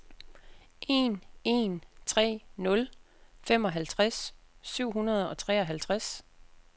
en en tre nul femoghalvtreds syv hundrede og treoghalvtreds